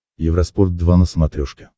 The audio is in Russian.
евроспорт два на смотрешке